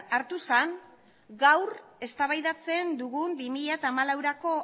hartu zen gaur eztabaidatzen dugun bi mila hamalaurako